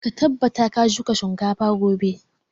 Ka tabbata ka shuka shinkafa gobe!